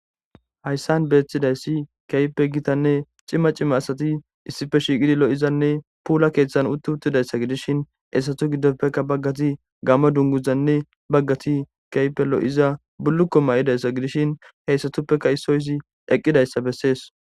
hayssan beeththidayssi keype gitanne cima cimma asati issife shiiqidi lo7izanne puula keeththan utti uttidayssa gidishin hessatu giddoppeka baggati gamma dunguzanne baggati keype lo7iza bullukko ma7idayssa gidishin heyssatuppeka issoyizi eqqidayssa bessees